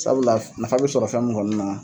Sabula nafa bɛ sɔrɔ fɛn min kɔni na